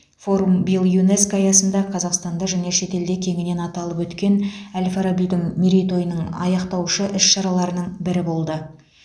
форум биыл юнеско аясында қазақстанда және шетелде кеңінен аталып өткен әл фарабидің мерейтойының аяқтаушы іс шараларының бірі болды